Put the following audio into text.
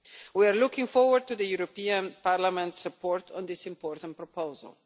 We are looking forward to the European Parliament support on this important proposal.